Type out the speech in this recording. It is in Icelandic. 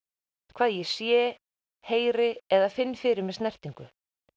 hvað ég sé heyri eða finn fyrir með snertingu